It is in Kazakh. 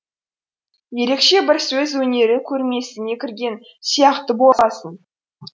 ерекше бір сөз өнері көрмесіне кірген сияқты боласың